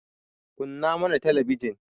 kunna mana talabijin